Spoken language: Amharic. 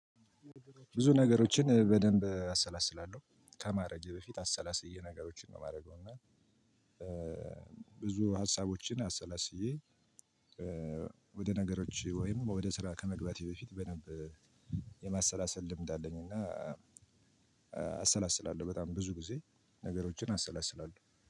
ብዙ ነገሮችን በደንብ አሰላስላለሁ። ከማድረጌ በፊት አሰላስዬ ነገሮችን ነው የማደርገው እና ብዙ ሀሳቦችን አሰላስዬ ወደ ነገሮች ወይም ወደ ስራ ከመግባቴ በፊት በደንብ የማሰላሰል ልምድ አለኝ እና አሰላስላለሁ በጣም ብዙ ጊዜ ነገሮችን አሰላስላለሁ።